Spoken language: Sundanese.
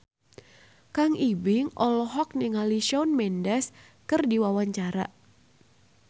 Kang Ibing olohok ningali Shawn Mendes keur diwawancara